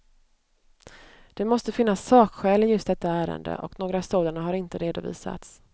Det måste finnas sakskäl i just detta ärende och några sådana har inte redovisats.